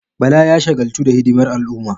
Bala ya shagaltu da hidimar al'umma.